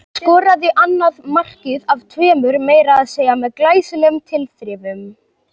Skoraði annað markið af tveimur meira að segja með glæsilegum tilþrifum.